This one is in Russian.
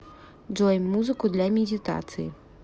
джой музыку для медитации